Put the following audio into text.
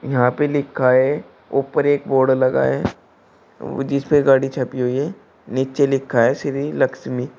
यहां पे लिखा है ऊपर एक बोर्ड लगा है वो जिस पे गाड़ी छुपी हुई है नीचे लिखा है श्री लक्ष्मी।